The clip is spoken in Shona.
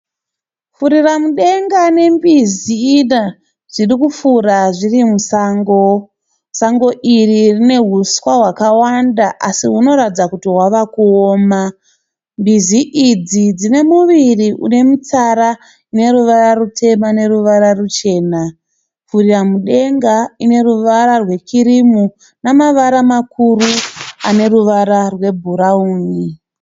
Furiramudenga nembizi zvirikufura zviri musango. Sango iri rine huswa hwakawanda asi hunoratidza kuti hwava kuoma. Mbizi idzi dzine muviri unemitsara neruvara rutema neruvara ruchena. Furiramudenga ine ruvara rwekirimu nemavara makuru aneruvara rwebhurauni.